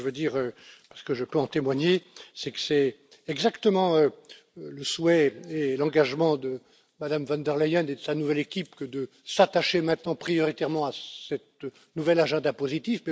Ce que je veux dire, parce que je peux en témoigner, c'est que c'est exactement le souhait et l'engagement de Mme von der Leyen et de sa nouvelle équipe, que de s'attacher maintenant prioritairement à ce nouvel agenda positif.